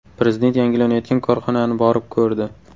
Prezident yangilanayotgan korxonani borib ko‘rdi.